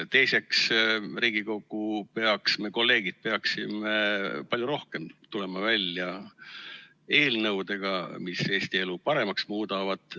Teiseks, Riigikogu peaks, me, kolleegid, peaksime palju rohkem tulema välja eelnõudega, mis Eesti elu paremaks muudavad.